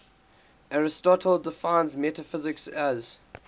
aristotle defines metaphysics as